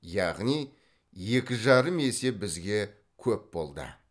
яғни екі жарым есе бізге көп болды